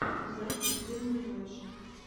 запись туму клэш